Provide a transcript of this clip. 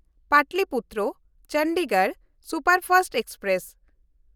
Pataliputra-Chandigarh superfast express